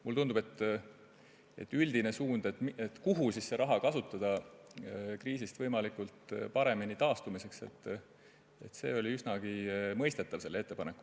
Mulle tundub, et üldine suund, kus seda raha kasutada, et kriisist võimalikult hästi taastuda, oli selle ettepaneku puhul üsnagi mõistetav.